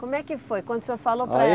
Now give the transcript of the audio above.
Como é que foi quando o senhor falou para